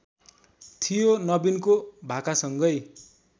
थियो नबिनको भाकासँगै